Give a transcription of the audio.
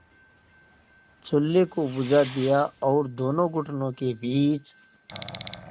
चूल्हे को बुझा दिया और दोनों घुटनों के बीच